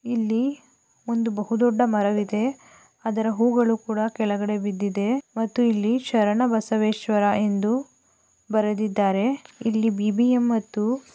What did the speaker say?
ಇಲ್ಲಿ ಒಂದು ಬಹುದೊಡ್ಡದಾ ಮರ ಇದೆ ಅದರ ಹೂವುಗಳು ಕೆಳಗಡೆ ಬಿದ್ದಿದೆ ಮತ್ತು ಇಲ್ಲಿ ಶರಣಬಸವೇಶ್ವರ ಎಂದು ಬರೆದಿದ್ದಾರೆ ಇಲ್ಲಿ ಬಿ.ಬಿ.ಎಂ ಮತ್ತು--